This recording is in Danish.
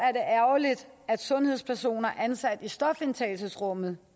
ærgerligt at sundhedspersoner ansat i stofindtagelsesrummene